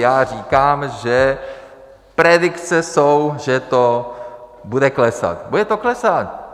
Já říkám, že predikce jsou, že to bude klesat, bude to klesat.